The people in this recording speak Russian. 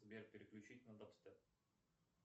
сбер переключить на дабстеп